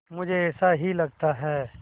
मुझे ऐसा ही लगता है